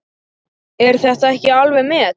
Er þetta ekki alveg met!